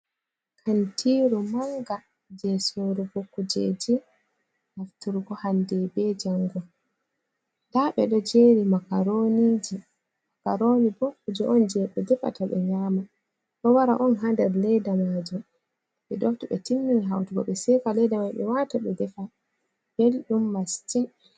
Kantiru manga je sorugo kujeji nafturgo hande be jango, nda ɓe ɗo jeri makaroniji, makaroni bo kuje on je ɓe defata ɓe nyama, ɗo wara on ha nder ledda maji. Ɓe ɗo to ɓe timmin hautugo ɓe seka ledda mal ɓe wata ɓe defa, ɓeldum massin.